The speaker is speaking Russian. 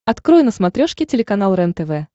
открой на смотрешке телеканал рентв